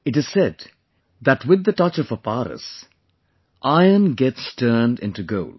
It is said that with the touch of a PARAS, iron gets turned into gold